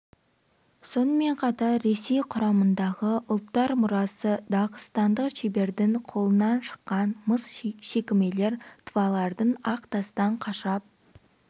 сонымен қатар ресей құрамындағы ұлттар мұрасы дағыстандық шебердің қолынан шыққан мыс шекімелер тывалардың ақ тастан қашап